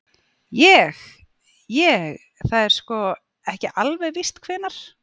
Ég. ég. það er sko. ekki alveg víst hvenær.